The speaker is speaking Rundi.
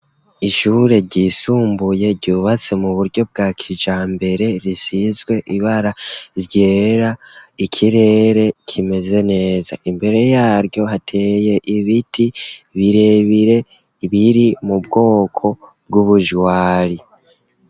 Ishure ryisumbuye, ryubatse mu buryo bwa kijambere, risizwe ibara ryera, ikirere kimeze neza; imbere yaryo, hateye ibiti birebire, biri mu bwoko bw'ubujwari.